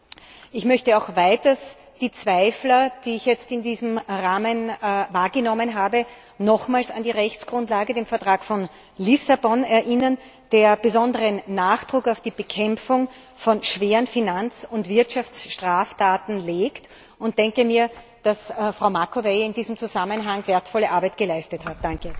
Weiters möchte ich auch die Zweifler, die ich jetzt in diesem Rahmen wahrgenommen habe, nochmals an die Rechtsgrundlage den Vertrag von Lissabon erinnern, der besonderen Nachdruck auf die Bekämpfung von schweren Finanz und Wirtschaftsstraftaten legt, und denke mir, dass Frau Macovei in diesem Zusammenhang wertvolle Arbeit geleistet hat.